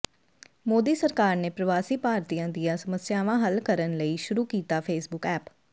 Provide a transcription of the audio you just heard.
ਮੋਦੀ ਸਰਕਾਰ ਨੇ ਪ੍ਰਵਾਸੀ ਭਾਰਤੀਆਂ ਦੀਆਂ ਸਮੱਸਿਆਵਾਂ ਹੱਲ ਕਰਨ ਲਈ ਸ਼ੁਰੂ ਕੀਤਾ ਫੇਸਬੁੱਕ ਐਪ